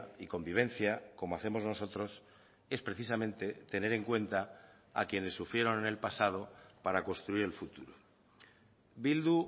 y convivencia como hacemos nosotros es precisamente tener en cuenta a quienes sufrieron en el pasado para construir el futuro bildu